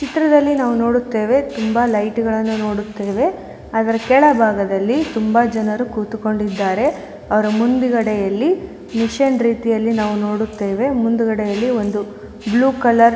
ಈ ಚಿತ್ರದಲ್ಲಿ ನಾವು ನೋಡುತ್ತೇವೆ ತುಂಬಾ ಲೈಟ್ ಗಳನ್ನು ನಾವು ನೋಡುತ್ತೇವೆ ಅದರ ಕೆಳಭಾಗದಲ್ಲಿ ತುಂಬಾ ಜನರು ಕುಳಿತುಕೊಂಡಿದ್ದಾರೆ ಅವರ ಮುಂದಗಡೆಯಲ್ಲಿ ಮಿಷಿನ್ ರೀತಿಯಲ್ಲಿ ನಾವು ನೋಡುತ್ತೇವೆ ಮುಂದಗಡೆ ಒಂದು ಬ್ಲೂ ಕಲರ್ --